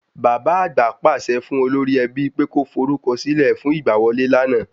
Bàbá àgbà pàṣẹ fún Olórí ẹbí pe kó forúkọ sílẹ̀ fún ìgbà wọlé lana